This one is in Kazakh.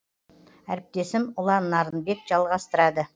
әріптесім ұлан нарынбек жалғастырады